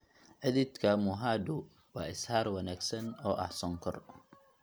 xididka mohaadhu waa ishaar wanaagsan oo ah sonkor.